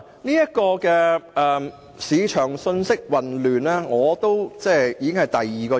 因此，市場信息混亂是我提出反對的第二個原因。